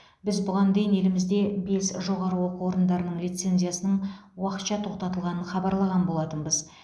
біз бұған дейін елімізде бес жоғары оқу орындарының лицензиясының уақытша тоқтатылғанын хабарлаған болатынбыз